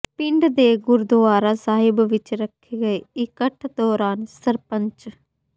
ਪਿੰਡ ਦੇ ਗੁਰਦੁਆਰਾ ਸਾਹਿਬ ਵਿੱਚ ਰੱਖੇ ਗਏ ਇਕੱਠ ਦੌਰਾਨ ਸਰਪੰਚ